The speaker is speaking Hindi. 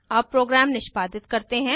अब प्रोग्राम निष्पादित करते हैं